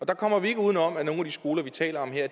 der kommer vi ikke uden om at nogle af de skoler vi taler om her